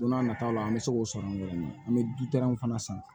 Don n'a nataw la an bɛ se k'o sɔrɔ an bɛ dutɛriw fana san